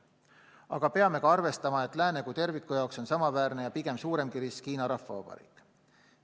Aga peame ka arvestama, et lääne kui terviku jaoks on samaväärne ja pigem suuremgi risk Hiina Rahvavabariik.